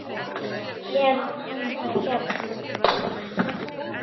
Hann hérna.